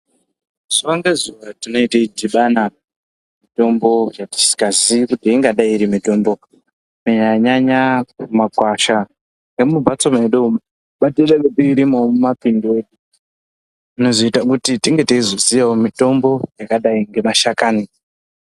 Zuwa ngezuwa tinoita dhibano mitombo yatinenge tisiangazii kuti ingadai iri mitombo kunyanyanyanya mumakwasha nemumbatso medu ngatiuyewo tirime mumapimbi zvinozoita tinge teizoziyawo mitombo yakadai nemashakani.